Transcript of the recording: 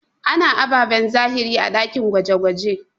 A na ababen zahiri a ɗakin gwaje-gwaje.